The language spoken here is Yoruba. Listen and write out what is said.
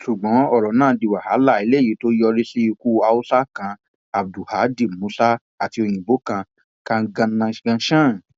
ṣùgbọn ọrọ náà di wàhálà eléyìí tó yọrí sí ikú haúsá kan abdulhadi musa àti òyìnbó kan kanganangshan